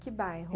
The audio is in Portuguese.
Que bairro?